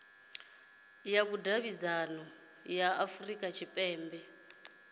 ya vhudavhidzano ya afurika tshipembe